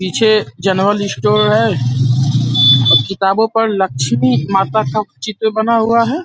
पीछे general store है और किताबों पर लक्ष्मी माता का चित्र बना हुआ है।